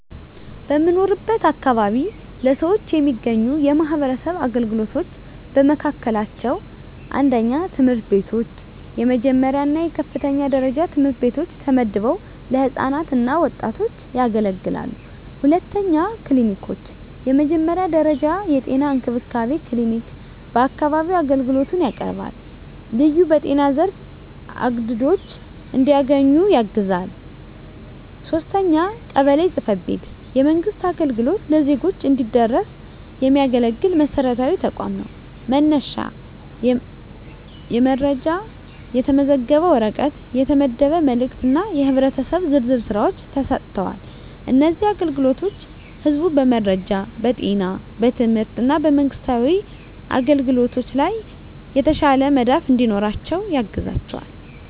በምኖርበት አካባቢ ለነዋሪዎች የሚገኙ የማህበረሰብ አገልግሎቶች በመካከላቸው፣ 1. ትምህርት ቤቶች፣ የመጀመሪያ እና የከፍተኛ ደረጃ ትምህርት ቤቶች ተመድበው ለህፃናት እና ወጣቶች ያገለግላሉ። 2. ክሊኒኮች፣ የመጀመሪያ ደረጃ የጤና እንክብካቤ ክሊኒክ በአካባቢው አገልግሎት ያቀርባል፣ ልዩ በጤና ዘርፍ አግድዶች እንዲያገኙ ያግዛል። 3. ቀበሌ ጽ/ቤት፣ የመንግሥት አገልግሎት ለዜጎች እንዲደረስ የሚያገለግል መሰረታዊ ተቋም ነው፤ መነሻ የመረጃ፣ የተመዘገበ ወረቀት፣ የተመደበ መልእክት እና የህብረተሰብ ዝርዝር ሥራዎች ተሰጥተዋል። እነዚህ አገልግሎቶች ህዝቡ በመረጃ፣ በጤና፣ በትምህርት እና በመንግስታዊ አግኝቶች ላይ የተሻለ መዳፍ እንዲኖራቸው ያግዛቸዋል።